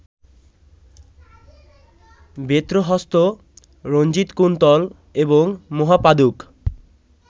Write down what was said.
বেত্রহস্ত, রঞ্জিতকুন্তল, এবং মহাপাদুক